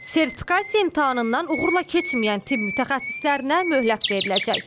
Sertifikasiya imtahanından uğurla keçməyən tibb mütəxəssislərinə möhlət veriləcək.